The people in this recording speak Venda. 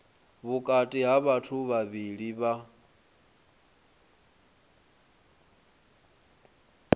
vhukati ha vhathu vhavhili vha